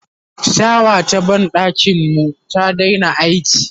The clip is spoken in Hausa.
shawa ta banɗakin mu ta Daina aiki